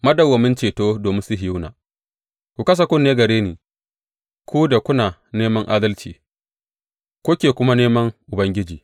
Madawwamin ceto domin Sihiyona Ku kasa kunne gare ni, ku da kuna neman adalci kuke kuma neman Ubangiji.